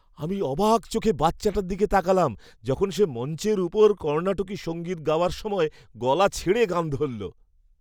আমি অবাক চোখে বাচ্চাটার দিকে তাকালাম যখন সে মঞ্চের ওপর কর্ণাটকী সঙ্গীত গাওয়ার সময় গলা ছেড়ে গান ধরল।